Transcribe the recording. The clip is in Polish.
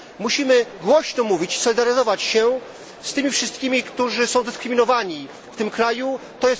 Musimy głośno mówić, solidaryzować się z tymi wszystkimi, którzy są dyskryminowani na Filipinach.